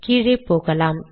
கீழே போகலாம்